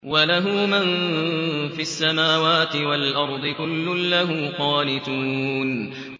وَلَهُ مَن فِي السَّمَاوَاتِ وَالْأَرْضِ ۖ كُلٌّ لَّهُ قَانِتُونَ